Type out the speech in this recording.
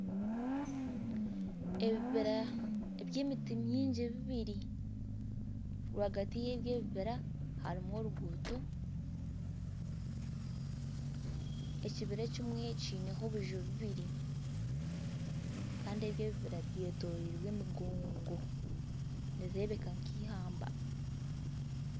Ebibira by'emiti mingi bibiri. Rwagati y'ebi ebibira harimu oruguuto. Ekibira ekimwe kiineho obuju bubiri. Kandi ebi ebibira byetoroirwe emigongo. Nirireebeka nk'eihamba.